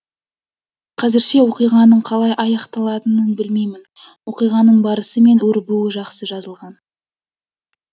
қазірше оқиғаның қалай аяқталатынын білмеймін оқиғаның барысы мен өрбуі жақсы жазылған